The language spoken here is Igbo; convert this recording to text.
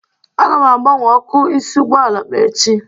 Aga m agbanwe ọkụ ịsị ụgbọala m echi